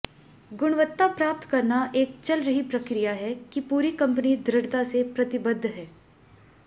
गुणवत्ता प्राप्त करना एक चल रही प्रक्रिया है कि पूरी कंपनी दृढ़ता से प्रतिबद्ध है